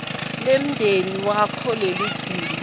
lemndeni wakho lelidzinga